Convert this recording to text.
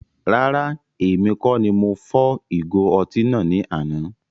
Rárá, èmi kọ ní mo fọ́ ìgo ọtí ní àna